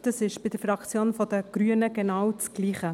Das ist bei der Fraktion der Grünen genau dasselbe.